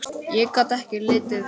Ég gat ekki litið við.